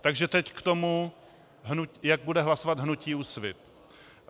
Takže teď k tomu, jak bude hlasovat hnutí Úsvit.